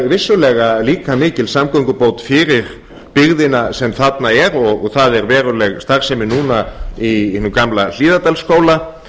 vissulega líka mikil samgöngubót fyrir byggðina sem þarna er og það er veruleg starfsemi núna í hinum gamla hlíðardalsskóla